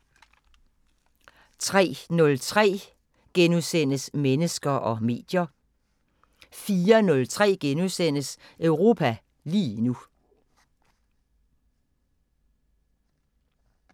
03:03: Mennesker og medier * 04:03: Europa lige nu *